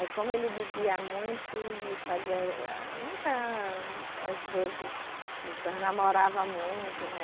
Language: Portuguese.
Aí como ele bebia muito e fazia eh, muitas, às vezes, namorava muito, né?